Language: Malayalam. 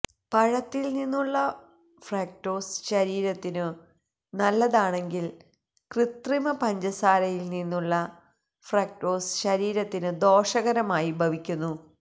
പഴത്തില് നിന്നുള്ള ഫ്രക്ടോസ് ശരീരത്തിനു നല്ലതാണെങ്കില് കൃത്രിമ പഞ്ചസാരയില് നിന്നുള്ള ഫ്രക്ടോസ് ശരീരത്തിനു ദോഷകരമായി ഭവിക്കുന്നു